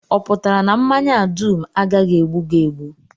Ọ pụtara na mmanya a dum agaghị egbu gị egbu?